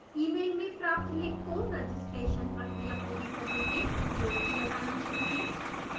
email में प्राप्त link को रजिस्ट्रेशन प्रक्रिया पूरी करने में उपयोग किया जाना चाहिए